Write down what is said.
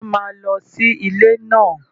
Wá má lọ sí ilé náà